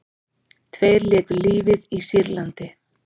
Tveir létu lífið í Sýrlandi